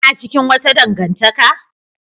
Kana cikin wata dangantaka?